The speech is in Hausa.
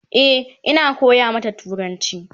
E,Ina koya mata turanci